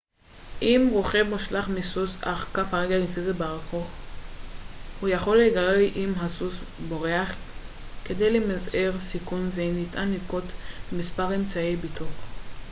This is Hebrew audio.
אם רוכב מושלך מסוס אך כף רגלו נתפסת בארכוף הוא יכול להיגרר אם הסוס בורח כדי למזער סיכון זה ניתן לנקוט במספר אמצעי בטיחות